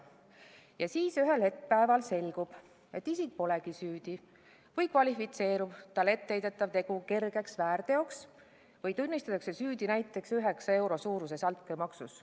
Ja siis ühel päeval selgub, et see isik polegi süüdi või kvalifitseerub talle etteheidetav tegu kergeks väärteoks, näiteks tunnistatakse ta süüdi 9 euro suuruses altkäemaksus.